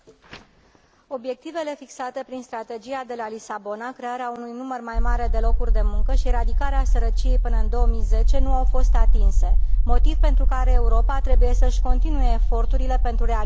Obiectivele fixate prin Strategia de la Lisabona, crearea unui număr mai mare de locuri de muncă și eradicarea sărăciei până în 2010, nu au fost atinse, motiv pentru care Europa trebuie să și continue eforturile pentru realizarea lor.